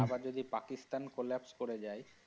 আবার যদি পাকিস্তান collapse করে যায়।